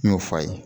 N y'o f'a ye